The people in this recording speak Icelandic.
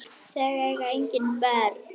Þau eiga engin börn.